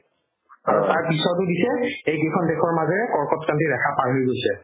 তাৰ পিছৰতো দিছে এইকেইখন দেশৰ মাজেৰে কৰ্কটক্ৰান্তি ৰেখা পাৰ হৈ গৈছে